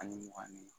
Ani mugan ni